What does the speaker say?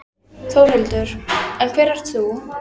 Þórhildur: En hver ert þú?